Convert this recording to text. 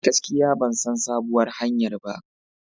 Gaskiya ban san sabuwar hanyar ba.